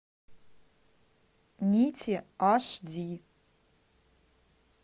нити аш ди